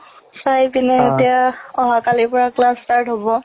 চাই পিনে এতিয়া অহা কালিৰ পৰা class start হ'ব